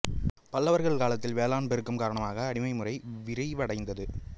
பல்லவர்கள் காலத்தில் வேளாண் பெருக்கம் காரணமாக அடிமை முறை விரிவடைந்தது